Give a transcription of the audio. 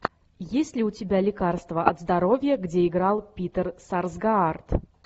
есть ли у тебя лекарство от здоровья где играл питер сарсгаард